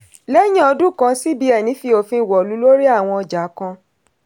lẹ́yìn ọdún kan cbn fi òfin wọ̀lú lórí àwọn ọjà kan.